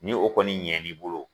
Ni o kɔni ɲɛn n'i bolo